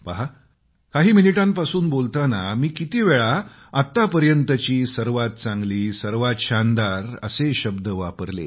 पहा काही मिनिटांपासून बोलताना मी किती वेळा आतापर्यंतची सर्वात चांगली सर्वात शानदार असे शब्द वापरले